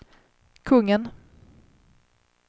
kungen